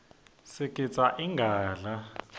sigidza ingadla